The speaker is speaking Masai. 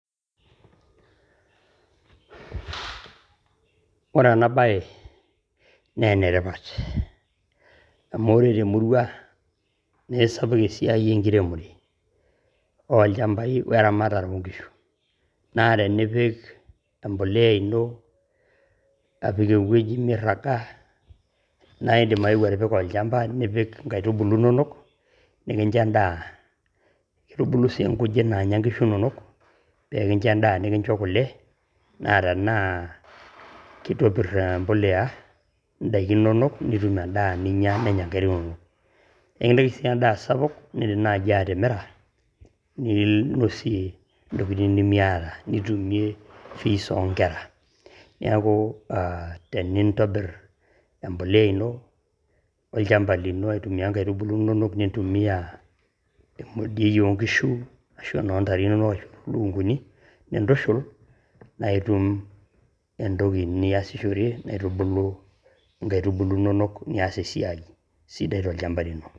Ore ena bae, naa enetipat. Amu ore temurua na kisapuk esiai enkiremore olchambai weramatare onkishu. Na tenipik empolea ino apik ewueji mirraga, na idim aeu atipika olchamba, nipik inkaitubulu inonok, nikincho endaa. Kitubulu si nkujit naanya nkishu nonok, pe ekincho endaa nikincho kule, na tenaa kitopir empolea idaiki nonok, nitum endaa ninya nenya nkera nonok. Ekintaki si endaa sapuk, na idim nai atimira, ninosie intokiting' nimiata. Nitumie fees onkera. Neeku ah, tenintobir empolea ino, olchamba lino aitumia nkaitubulu nonok, nintumia emodioi onkishu, ashu enoo ntare nonok ashu enoolukunkuni, na enintushul, na itum entoki niasishore naitubulu nkaitubulu nonok nias esiai sidai tolchamba lino.